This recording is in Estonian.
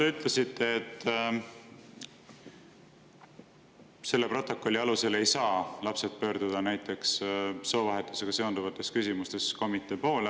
Te ütlesite, et lapsed ei saa selle protokolli alusel pöörduda komitee poole näiteks soovahetusega seotud küsimustes.